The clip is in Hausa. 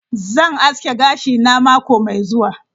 Zan aske gashina mako mai zuwa.